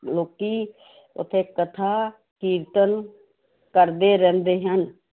ਲੋਕੀ ਉੱਥੇ ਕਥਾ ਕੀਰਤਨ ਕਰਦੇ ਰਹਿੰਦੇ ਹਨ।